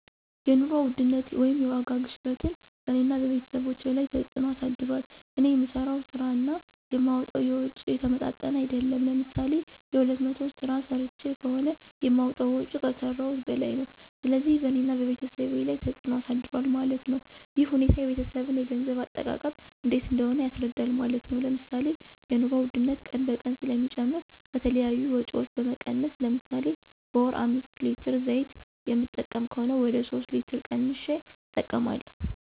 የኑሮ ውድነት (የዋጋ ግሽበትን በእኔና በቤተሰቦቸ ላይ ተፅዕኖ አሳድሯል። እኔ የምሠራው ስራ እና የማወጣዉ ወጭ የተመጣጠነ አይደለም። ለምሳሌ የሁለት መቶ ስራ ሰርቸ ከሆነ የማወጣው ወጭ ከሰረውት በላይ ነው። ስለዚህ በእኔና በቤተሰብ ላይ ተፅዕኖ አሳድሯል ማለት ነው። ይህ ሁኔታ የቤተሰብን የገንዘብ አጠቃቀም እንዴት እንደሆነ ያስረዳል ማለት ነው። ለምሳሌ የኑሮ ውድነት ቀን በቀን ስለሚጨምር ከተለያዩ ወጭዎች በመቀነስ ለምሳሌ በወር አምስት ሌትር ዘይት የምጠቀም ከሆነ ወደ ሶስት ሌትር ቀንሸ እጠቀማለሁ።